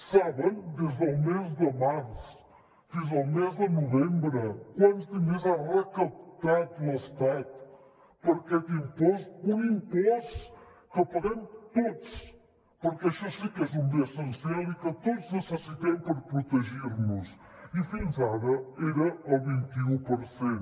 saben des del mes de març fins al mes de novembre quants diners ha recaptat l’estat per aquest impost un impost que paguem tots perquè això sí que és un bé essencial i que tots necessitem per protegir nos i fins ara era el vint un per cent